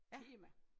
Tema